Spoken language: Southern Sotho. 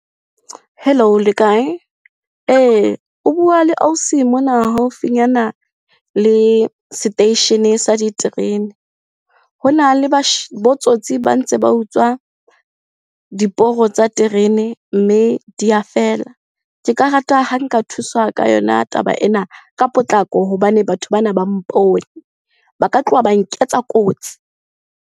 Hello le kae? Ee, o bua le ausi mona haufinyana le seteishene sa diterene. Hona le botsotsi ba ntse ba utswa diporo tsa terene mme di a fela. Ke ka rata ha nka thuswa ka yona taba ena ka potlako hobane batho bana ba mpone. Ba ka tloha ba nketsa kotsi.